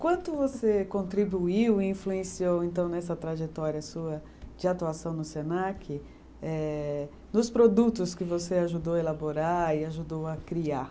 Quanto você contribuiu e influenciou então nessa trajetória sua de atuação no Senac, eh nos produtos que você ajudou a elaborar e ajudou a criar?